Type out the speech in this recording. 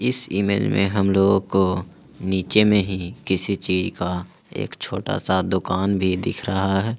इस इमेज में हम लोगों को नीचे में ही किसी चीज का एक छोटा सा दुकान भी दिख रहा है।